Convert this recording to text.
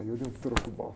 Aí eu dei um troco bom.